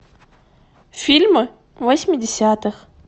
фильмы восьмидесятых